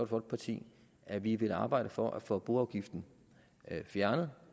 folkeparti at vi vil arbejde for at få boafgiften fjernet